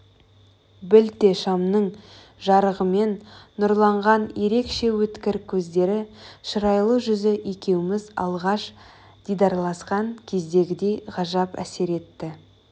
білте шамның жарығымен нұрланған ерекше өткір көздері шырайлы жүзі екеуміз алғаш дидарласқан кездегідей ғажап әсер етті